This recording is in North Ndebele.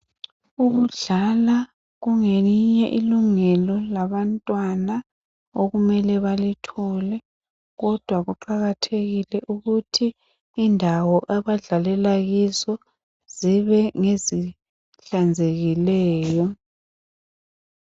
Ukudlala kungelinye ilungelo labantwana okumele baluthole kodwa kuqakathekile ukuthi indawo abadlalela kizo zibe ngezihlanzekileyo.